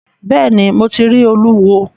Bẹ́ẹ̀ ni, Mo ti rí Olúwo.